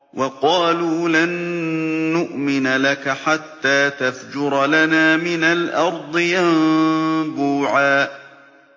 وَقَالُوا لَن نُّؤْمِنَ لَكَ حَتَّىٰ تَفْجُرَ لَنَا مِنَ الْأَرْضِ يَنبُوعًا